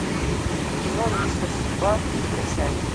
кино мистер судьба закачай